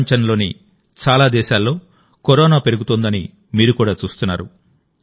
ప్రపంచంలోని చాలా దేశాల్లో కరోనా పెరుగుతోందని మీరు కూడా చూస్తున్నారు